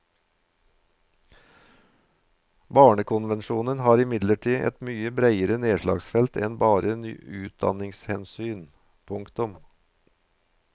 Barnekonvensjonen har imidlertid et mye breiere nedslagsfelt enn bare utdanningshensyn. punktum